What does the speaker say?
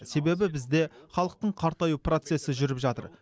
себебі бізде халықтың қартаю процесі жүріп жатыр